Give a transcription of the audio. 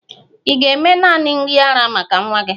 Ị ga-eme nanị nri ara maka nwa gị?